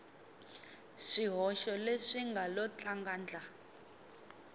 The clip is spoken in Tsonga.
swihoxo leswi nga lo tlangandla